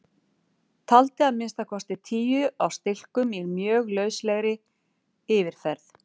Taldi að minnsta kosti tíu á stilkum í mjög lauslegri yfirferð.